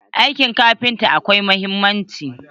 Aikin kafinta akwai muhimmanci.